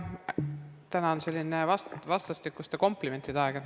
Täna on selline vastastikuste komplimentide aeg.